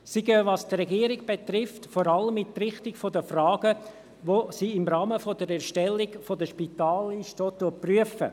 Sie gehen, was die Regierung betrifft, vor allem in die Richtung der Fragen, die sie im Rahmen der Erstellung der Spitalliste auch prüft.